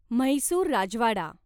Mysore Rajwada